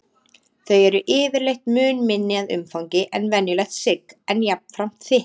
Þau eru yfirleitt mun minni að umfangi en venjulegt sigg en jafnframt þykkari.